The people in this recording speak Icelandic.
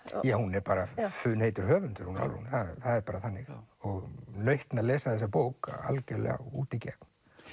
hún er bara funheitur höfundur hún Álfrún það er bara þannig og nautn að lesa þessa bók algjörlega út í gegn